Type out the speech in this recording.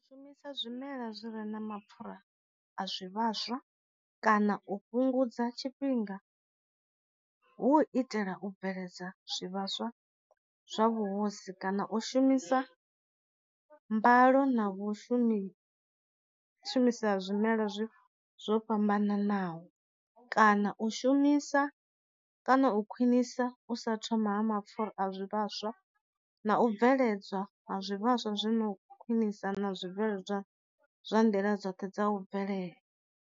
Shumisa zwimela zwi re na mapfhura a zwi vhaswa kana u fhungudza tshifhinga, hu u itela u bveledza zwi vhaswa zwa vhuhosi kana u shumisa mbalo na vhushumi u shumisa zwimela zwi zwo fhambananaho, kana u shumisa kana u khwinisa u sa thoma ha mapfura a zwi vhaswa, na u bveledzwa ha zwi vhaswa zwino khwinisa na zwi bveledzwa zwa nḓila dzoṱhe dza u bvelela.